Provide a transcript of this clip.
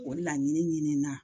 O laɲini ɲinina